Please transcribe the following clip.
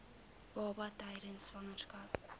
baba tydens swangerskap